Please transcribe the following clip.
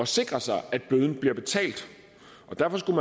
sikre sig at bøden bliver betalt derfor skulle